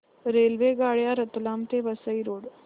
रेल्वेगाड्या रतलाम ते वसई रोड